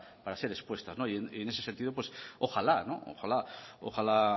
para ser expuestas en ese sentido ojala ojala